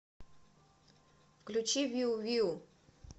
включи виу виу